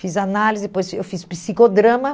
Fiz análise, depois eu fiz psicodrama.